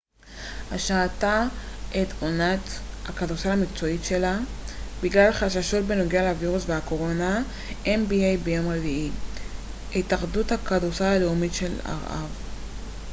"ביום רביעי התאחדות הכדורסל הלאומית של ארה""ב nba השעתה את עונת הכדורסל המקצועי שלה בגלל חששות בנוגע לווירוס הקורונה.